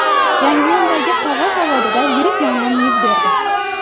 Yangiyo‘ldagi qog‘oz zavodida yirik yong‘in yuz berdi.